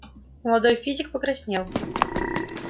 молодой физик покраснел